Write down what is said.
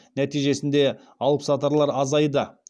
нәтижесінде алыпсатарлар азайды